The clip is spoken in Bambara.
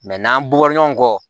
n'an b'o bɔ ɲɔgɔn kɔ